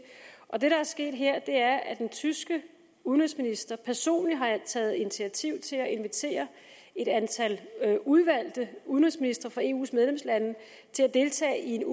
det der er sket her er at den tyske udenrigsminister personligt har taget initiativ til at invitere et antal udvalgte udenrigsministre fra eus medlemslande til at deltage i en